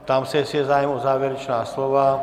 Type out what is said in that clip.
Ptám se, jestli je zájem o závěrečná slova.